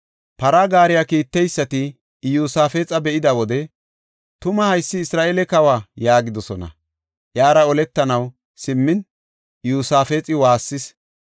Para gaariya kiitteysati Iyosaafexa be7ida wode, “Tuma haysi Isra7eele kawa” yaagidosona. Iyara oletanaw simmin Iyosaafexi waassis.